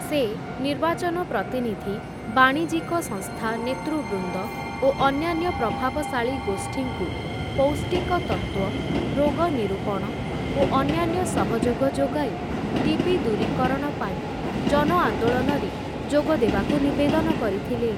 ସେ ନିର୍ବାଚନ ପ୍ରତିନିଧି, ବାଣିଜ୍ୟିକ ସଂସ୍ଥା ନେତୃବୃନ୍ଦ ଓ ଅନ୍ୟାନ୍ୟ ପ୍ରଭାବଶାଳୀ ଗୋଷ୍ଠୀଙ୍କୁ ପୌଷ୍ଟିକତତ୍ତ୍ୱ, ରୋଗ ନିରୂପଣ ଓ ଅନ୍ୟାନ୍ୟ ସହଯୋଗ ଯୋଗାଇ ଟିବି ଦୂରୀକରଣ ପାଇଁ ଜନ ଆନ୍ଦୋଳନରେ ଯୋଗ ଦେବାକୁ ନିବଦେନ କରିଥିଲେ ।